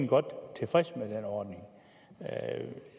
godt tilfreds med den ordning